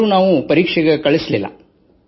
ಆದರೂ ನಾವು ಪರೀಕ್ಷೆಗೆ ಹಾಜರುಪಡಿಸಲಿಲ್ಲ